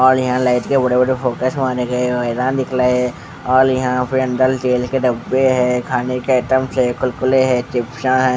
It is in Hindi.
औल यहाँ लाइट के बड़े-बड़े फोकस मारे गए और वायर दिख रहे है औल यहाँ पे अंदर तेल के डब्बे है खाने के आइटम्स है कुलकुले है चिपसा हैं।